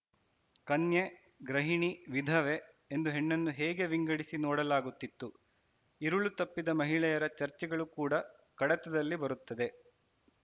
ಕನ್ಯೆ ಗೃಹಿಣಿ ವಿಧವೆ ಎಂದು ಹೆಣ್ಣನ್ನು ಹೇಗೆ ವಿಂಗಡಿಸಿ ನೋಡಲಾಗುತ್ತಿತ್ತು ಇರುಳು ತಪ್ಪಿದ ಮಹಿಳೆಯರ ಚರ್ಚೆಗಳು ಕೂಡ ಕಡತದಲ್ಲಿ ಬರುತ್ತದೆ